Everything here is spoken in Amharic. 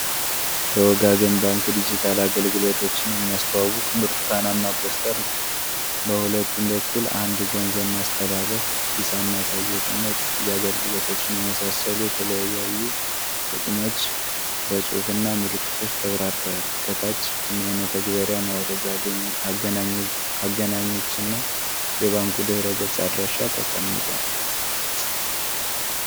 የወጋገን ባንክ ዲጂታል አገልግሎቶችን የሚያስተዋውቅ ብርቱካናማ ፖስተር ነው። በሁለቱም በኩል እንደ ገንዘብ ማስተላለፍ፣ ሂሳብ ማየትና የክፍያ አገልግሎቶችን የመሳሰሉ የተለያዩ ጥቅሞች በጽሑፍና ምልክቶች ተብራርተዋል። ከታች የመተግበሪያ ማውረጃ አገናኞችና የባንኩ ድረ-ገጽ አድራሻ ተቀምጠዋል።